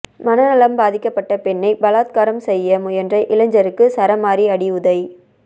மனநலம் பாதிக்கப்பட்ட பெண்ணை பலாத்காரம் செய்ய முயன்ற இளைஞருக்கு சரமாரி அடி உதை